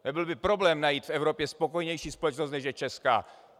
Nebyl by problém najít v Evropě spokojenější společnost, než je česká.